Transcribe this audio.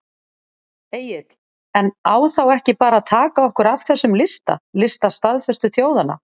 Egill: En á þá ekki bara að taka okkur af þessum lista, lista staðföstu þjóðanna?